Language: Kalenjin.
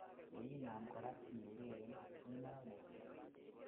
yeinam korak iureren ,inaam mutyo